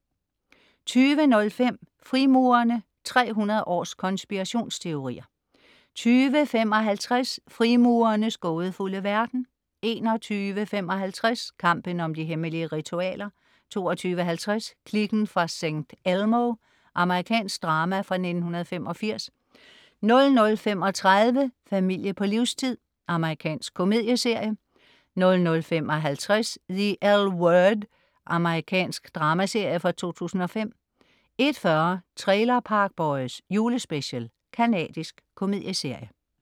20.05 Frimurerne. 300 års konspirationsteorier 20.55 Frimurernes gådefulde verden 21.55 Kampen om de hemmelige ritualer 22.50 Kliken fra St. Elmo. Amerikansk drama fra 1985 00.35 Familie på livstid. Amerikansk komedieserie 00.55 The L Word. merikansk dramaserie fra 2005 01.40 Trailer Park Boys. Julespecial. Canadisk komedieserie